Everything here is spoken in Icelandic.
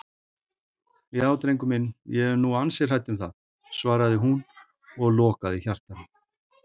Já drengur minn, ég er nú ansi hrædd um það, svaraði hún og lokaði hjartanu.